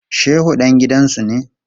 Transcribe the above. Shehu dan gidansu ne.